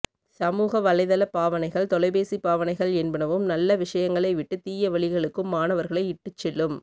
சமூகவலைத்தளப்பாவனைகள் தொலைபேசிபாவனைகள் என்பனவும் நல்ல விடயங்களை விட்டு தீயவரழிகளுக்கும் மாணவர்களை இட்டுச்செல்லும்